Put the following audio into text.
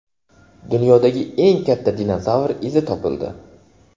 Dunyodagi eng katta dinozavr izi topildi.